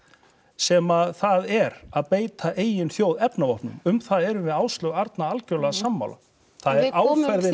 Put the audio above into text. sem það er að beita eigin þjóð efnavopnum um það erum við Áslaug Arna algjörlega sammála það er áferðin